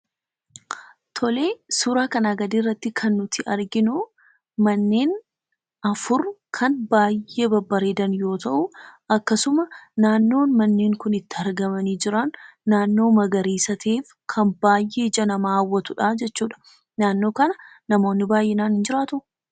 Tole, suuraa kanaa gadiirratti kan nuti arginu, manneen afur kan baay'ee babbareedan yoo ta'u akkasuma naannoon manneen kun itti argamanii jiran naannoo magariisa ta'eef kan baay'ee ija namaa hawwatudha jechuudha. Naannoo kana namoonni baay'inaan in jiraatuu?